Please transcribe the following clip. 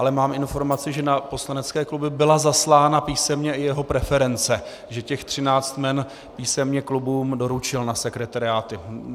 Ale mám informaci, že na poslanecké kluby byla zaslána písemně i jeho preference, že těch třináct jmen písemně klubům doručil na sekretariáty.